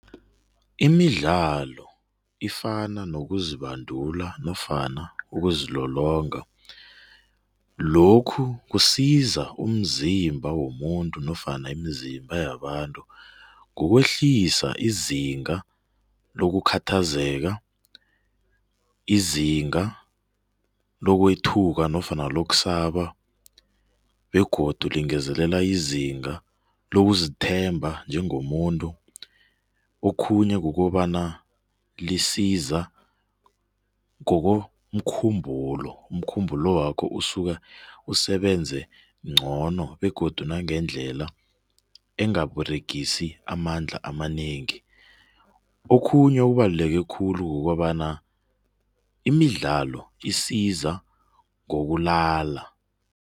Imidlalo ifana nokuzibandula nofana ukuzilolonga. Lokhu kusiza umzimba womuntu nofana imizimba yabantu ngokwehlisa izinga lokukhathazeka, izinga lokwethuka nofana lokusaba begodu lingezelelela izinga lokuzithemba njengomuntu. Okhunye kukobana lisiza ngokomkhumbulo, umkhumbulo wakho ukusuka umsebenzi ngcono begodu nangendlela engaberegisi amandla amanengi. Okhunye okubaluleke khulu kukobana imidlalo isizo ngokulala.